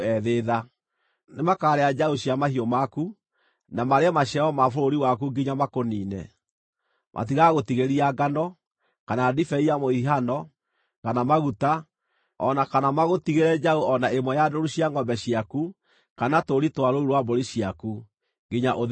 Nĩmakarĩa njaũ cia mahiũ maku, na marĩe maciaro ma bũrũri waku nginya makũniine. Matigagũtigĩria ngano, kana ndibei ya mũhihano, kana maguta, o na kana magũtigĩre njaũ o na ĩmwe ya ndũũru cia ngʼombe ciaku kana tũũri twa rũũru rwa mbũri ciaku, nginya ũthĩĩnĩke biũ.